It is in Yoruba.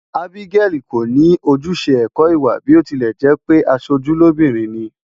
Abigail kò ní ojúṣe ẹ̀kọ́-ìwà bí ó tilẹ̀ jẹ́ pé aṣojú lóbìnrin ni.